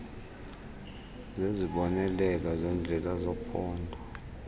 zezibonelelo zendlela zephondo